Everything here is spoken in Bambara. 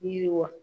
Yiriwa